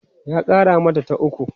ya Kara mata ta ukwu